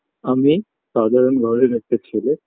আমি সাধারণ ঘরের একটা ছেলে